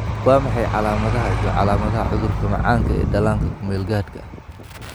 Waa maxay calaamadaha iyo calaamadaha cudurka macaanka ee dhallaanka ku meel gaadhka ah?